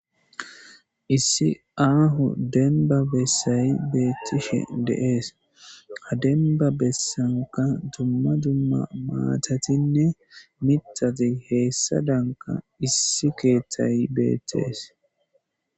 issi aahu denba bessay beethtishe deees ha denba bessanka dumma dumma maatatinne mitati heessa danka issi keeththay beetees